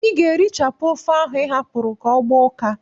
I ga-erichapụ ofe ahụ ị hapụrụ ka ọ gbaa ụka!